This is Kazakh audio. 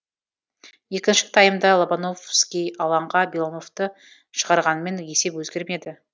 екінші таймда лобановский алаңға белановты шығарғанымен есеп өзгермеді